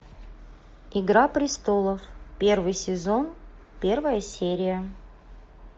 игра престолов первый сезон первая серия